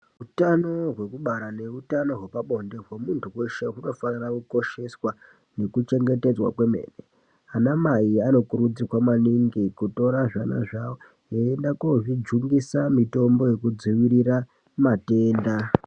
Utano hwekubara nehutano hwepabonde hwemuntu hweshe hwakakosha, hunofana kutarisiswa nekuchengetedzwa kwemene, anamai anokurudzirwa maningi kutora zvana zvavo voenda kozvijungisa mitombo yekudzivirira matenda.